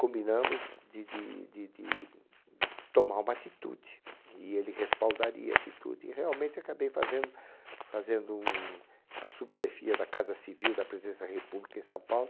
Combinamos de de de de de tomar uma atitude, e ele respaldaria a atitude, e realmente acabei fazendo fazendo no no a subchefia da Casa Civil da Presidência da República em São Paulo,